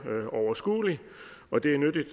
overskuelig og det er nyttigt